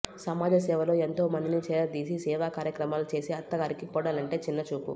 సమాజసేవలో ఎంతోమందిని చేరదీసి సేవా కార్యక్రమాలు చేసే అత్తగారికి కోడలంటే చిన్నచూపు